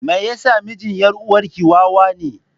Me yasa mijin yar uwarki wawa ne?